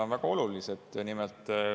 … on väga oluline.